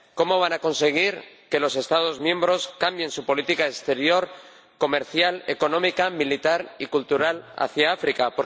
¿cómo van a conseguir que los Estados miembros cambien su política exterior, comercial, económica, militar y cultural hacia África?